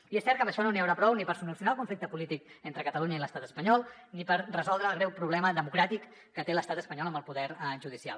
i és cert que amb això no n’hi haurà prou ni per solucionar el conflicte polític entre catalunya i l’estat espanyol ni per resoldre el greu problema democràtic que té l’estat espanyol amb el poder judicial